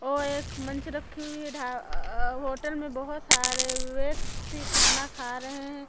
और एक मंच रखी हुई है ढा अ अ होटल में बहुत सारे व्यक्ति खाना खा रहे हैं।